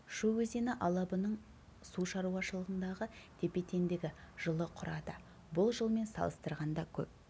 шу өзені алабының су шаруашылындағы тепе-теңдігі жылы құрады бұл жылмен салыстырғанда көп